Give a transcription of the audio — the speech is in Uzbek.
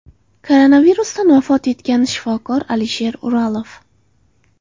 Koronavirusdan vafot etgan shifokor Alisher Uralov.